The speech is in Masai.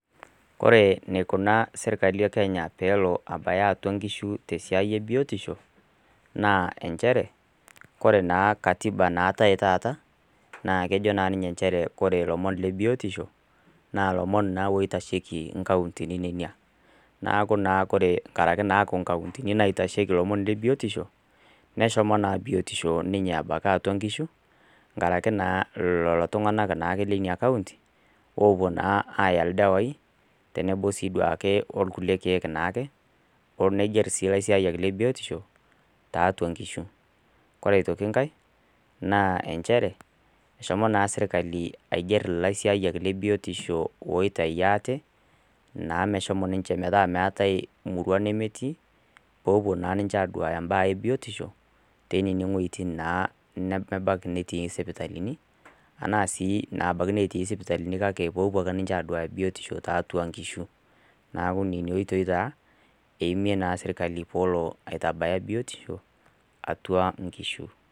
Kore neikunaa sirkali ekenya peelo abaya atua nkishu tesiai ebiotisho naa enchere kore naa katiba naatae taata naa kejo naa ninye nchere kore ilomon le biotisho naa lomon naa oitasheki inkauntini nenia naaku naa kore nkaraki naaku inkauntini naitasheki ilomon le biotisho neshomo naa biotisho ninye abaki atua nkishu nkaraki naa lolo tung'anak naake leinia county opuo naa aaya ildawai tenebo sii duake olkulie keek naake olo nigerr sii ilaisiyiak le biotisho taatua nkishu ore aitoki nkae naa enchere eshomo naa sirkali aigerr ilaisiayiak le biotisho oitai ate naa meshomo ninche naa meetae murua nemetii popuo naa ninche aduaya mbaa e biotisho tenene ng'ueitin naa nemebaki netii isipitalini anaa sii ana abaki netii ispitalini kake popuo ake ninche aduaya biotisho tatua nkishu naku nenia oitoi taa eimie naasirkali poolo aitabaya biotisho atua nkishu.